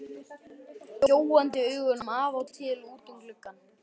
Gjóaði augunum af og til út um gluggann.